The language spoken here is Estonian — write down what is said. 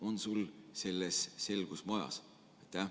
On sul selles selgus majas?